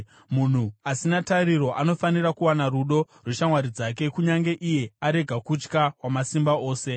“Munhu asina tariro anofanira kuwana rudo rweshamwari dzake, kunyange iye arega kutya Wamasimba Ose.